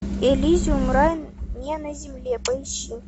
элизиум рай не на земле поищи